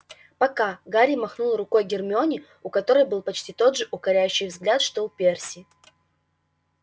пока гарри махнул рукой гермионе у которой был почти тот же укоряющий вид что и у перси